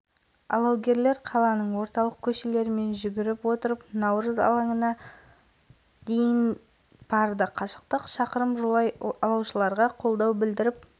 жалпы алау отын алып жүру мәртебесі адамға бұйырды олардың арасында студенттермен қатар қоғам қайраткерлері байырғы спортшыларға